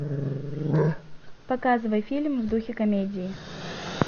показывай фильм в духе комедии